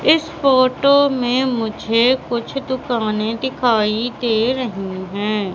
इस फोटो में मुझे कुछ दुकाने दिखाई दे रही हैं।